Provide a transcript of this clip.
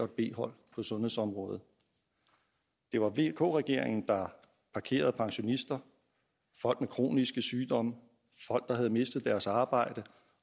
b hold på sundhedsområdet det var vk regeringen der parkerede pensionister folk med kroniske sygdomme folk der havde mistet deres arbejde